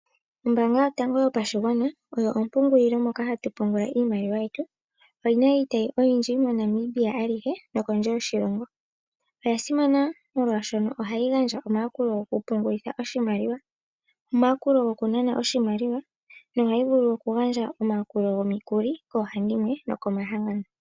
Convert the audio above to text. Ombaanga Yoango Yopashigwana oyo ompungulilo moka hatu pungula iimaliwa yetu. Oyi na iitayi oyindji moNamibia alihe nokondje yoshilongo. Oya simana molwashoka ohayi gandja omayakulo gokupungulitha oshimaliwa, omayakulo gokunana oshimaliwa nohayi vulu okugandja omayakulo gomikulo koohandimwe nokomahangano.